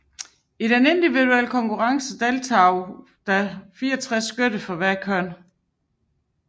I den individuelle konkurrence deltog der 64 skytter for hvert køn